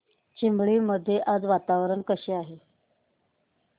चिंबळी मध्ये आज वातावरण कसे आहे